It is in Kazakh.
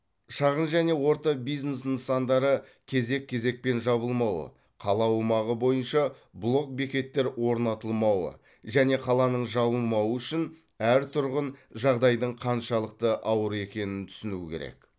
шағын және орта бизнес нысандары кезек кезекпен жабылмауы қала аумағы боиынша блок бекеттер орнатылмауы және қаланың жабылмауы үшін әр тұрғын жағдаидың қаншалықты ауыр екенін түсінуі керек